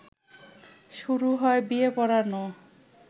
শুরু হয় বিয়ে পড়ানো